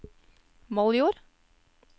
Moldjord